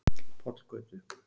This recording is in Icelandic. Pollgötu